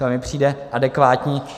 To mi přijde adekvátní.